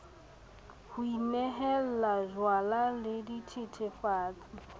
ho inehella jwala le dithethefatsi